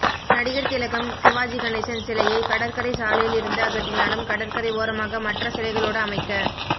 நடிகர் திலகம் சிவாஜி கணேசன் சிலையை கடற்கரை சாலையிலிருந்து அகற்றினாலும் கடற்கரை ஓரமாக மற்ற சிலைகளோடு அமைக்க